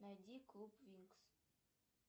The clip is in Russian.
найди клуб винкс